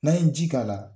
N'an ye ji k'a la